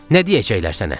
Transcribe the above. Nə deyəcəklər sənə?